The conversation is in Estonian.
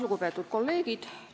Lugupeetud kolleegid!